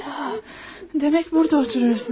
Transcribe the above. Ay Demək burda oturursun hə?